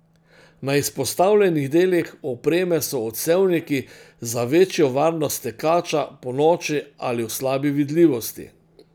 Na izpostavljenih delih opreme so odsevniki za večjo varnost tekača ponoči ali v slabi vidljivosti.